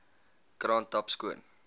kraan tap skoon